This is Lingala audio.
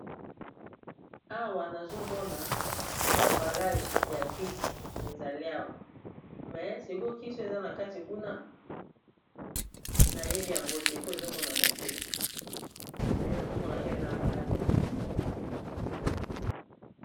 Awa nazomona ambalage ya kisi ezali awa me siko kisi eza na kati kuna nayebi yango te po ezomonana te me nazomonaka eza ambalage ya kisi.